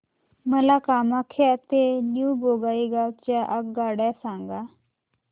मला कामाख्या ते न्यू बोंगाईगाव च्या आगगाड्या सांगा